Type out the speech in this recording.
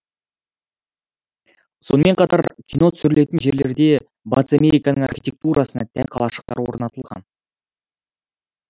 сонымен қатар кино түсірілетін жерлерде батыс американың архитектурасына тән қалашықтар орнатылған